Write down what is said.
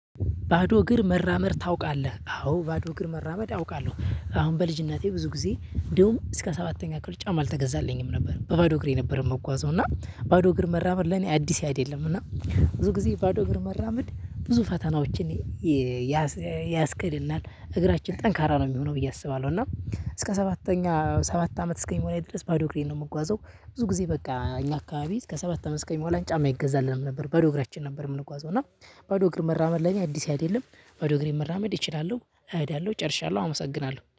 ባዶ እግር መራመድ ታውቃለህ አዎ ባዶ እግር መራመድ አውቃለሁ። አሁን በልጅነቴ ብዙ ጊዜ እንዲሁም እስከ ሰባተኛ ክፍል ጫማ አልተገዛልኝም ነበር። በባዶ እግር የነበረ መጓዙ እና ባዶ እግር መራመር ለኔ አዲስ አይደለም። እና ብዙ ጊዜ ባዶ እግር መራመድ ብዙ ፈተናዎችን። ያስቀድልናል እግራችን ጠንካራ ነው ሚሆነው ብዬ አስባለሁ። እና እስከ ሰባተኛ ሰባት አመት እስከሚሞላኝ ድረስ ባዶ እግሬን ነው ምጓዘው። ብዙ ጊዜ በቃ እኛ አካባቢ እስከ ሰባት አማት መሆኗን ጫማ ይገዛልንም ነበር። ባዶ እግራችን ነበር ምንጓዘው። እና ባዶ እግር መራመድ ለኔ አዲስ አይደለም። በዶእግሬም መራመድ እችላለሁ እሄዳለሁ ጨርሻለሁ አመሰግናለሁ